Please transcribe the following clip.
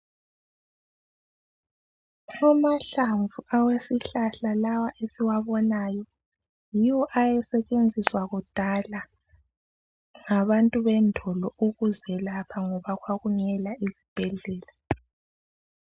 Amahlamvu alesihlahla la esiwabonayo yiwo ayasentshenziswa kudala ngabantu bendulo ukuyelapha ngoba kwakungela izibhedlela.